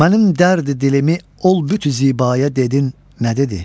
Mənim dərd-i dilimi ol büt-i zibaya dedin nə dedi?